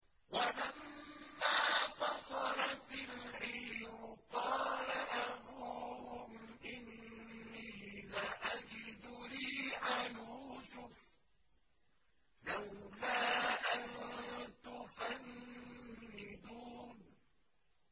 وَلَمَّا فَصَلَتِ الْعِيرُ قَالَ أَبُوهُمْ إِنِّي لَأَجِدُ رِيحَ يُوسُفَ ۖ لَوْلَا أَن تُفَنِّدُونِ